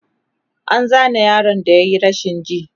an Zane yaron da yayi rashin ji